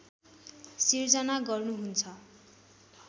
सिर्जना गर्नुहुन्छ